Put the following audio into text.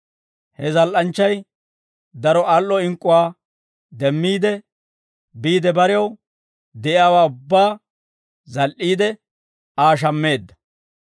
He zal"anchchay daro al"o ink'k'uwaa demmiide, biide barew de'iyaawaa ubbaa zal"iide, Aa shammeedda.